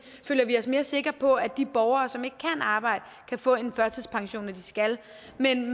os mere sikre på at de borgere som ikke kan arbejde kan få en førtidspension når de skal